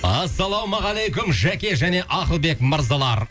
ассалаумағалейкум жәке және ақылбек мырзалар